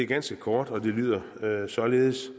ganske kort og det lyder således